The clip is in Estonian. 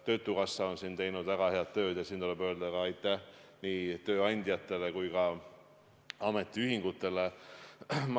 Töötukassa on siin teinud väga head tööd ja tuleb öelda aitäh nii tööandjatele kui ka ametiühingutele.